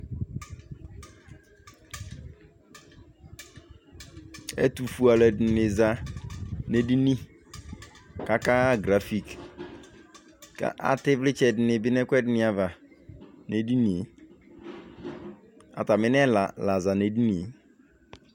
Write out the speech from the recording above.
ɛtu fue alu ɛdini za nu edini ku aka ɣa grafik, ku ata ivlitsɛ ni bi nu ɛku ɛdini ava nu edinie, ata mi nɛla la za nu edinie